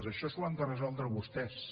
això s’ho han de resoldre vostès